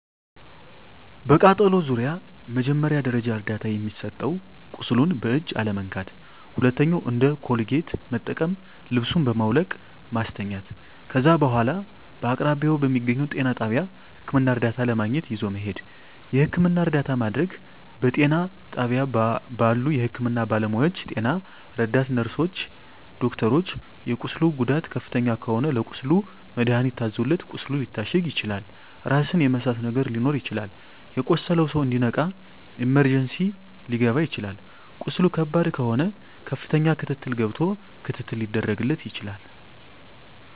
በቃጠሎ ዙሪያ መጀመሪያ ደረጃ እርዳታ የሚሰጠዉ ቁስሉን በእጅ አለመንካት ሁለተኛዉ እንደ ኮልጌት መጠቀም ልብሱን በማዉለቅ ማስተኛት ከዛ በኋላ በአቅራቢያዎ በሚገኘዉ ጤና ጣቢያ ህክምና እርዳታ ለማግኘት ይዞ መሄድ የህክምና እርዳታ ማድረግ በጤና ጣቢያ ባሉ የህክምና ባለሞያዎች ጤና ረዳት ነርስሮች ዶክተሮች የቁስሉ ጉዳት ከፍተኛ ከሆነ ለቁስሉ መድሀኒት ታዞለት ቁስሉ ሊታሸግ ይችላል ራስን የመሳት ነገር ሊኖር ይችላል የቆሰለዉ ሰዉ እንዲነቃ ኢመርጀንሲ ሊከባ ይችላል ቁስሉ ከባድ ከሆነ ከፍተኛ ክትትል ገብቶ ክትትል ሊደረግ ይችላል